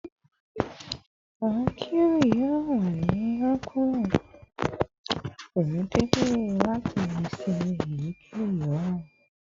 Awọn pq yoo wa ni rọpo preemptively lati se eyikeyi oran